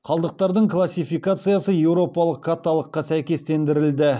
қалдықтардың классификациясы еуропалық каталогқа сәйкестендірілді